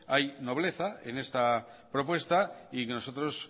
hay nobleza en esta propuesta y nosotros